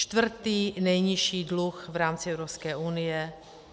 Čtvrtý nejnižší dluh v rámci Evropské unie.